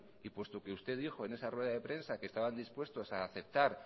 y puesto que usted dijo en esa rueda de prensa que estaba dispuesto a aceptar